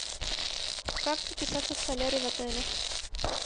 как записаться в солярий в отеле